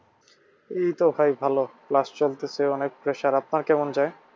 এইতো ভাই ভালো, class চলতেছে অনেক pressure আপনার কেমন যায়?